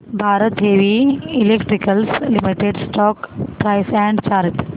Bharat heavy electricals limited stock price and chart